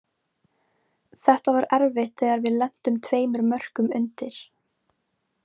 Þetta var erfitt þegar við lentum tveimur mörkum undir.